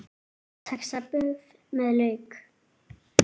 Saxað buff með lauk